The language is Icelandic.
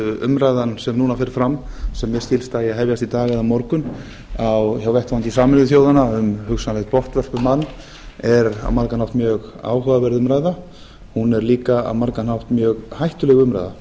umræðan sem núna fer fram sem mér skilst að eigi að hefjast í dag eða á morgun á vettvangi sameinuðu þjóðanna um hugsanlegt botnvörpubann er á margan hátt mjög áhugaverð umræða hún er líka á margan hátt mjög hættuleg umræða